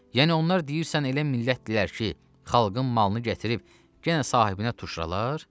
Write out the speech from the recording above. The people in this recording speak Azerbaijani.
Yəni onlar deyirsən elə millətdirlər ki, xalqın malını gətirib yenə sahibinə tuşralar?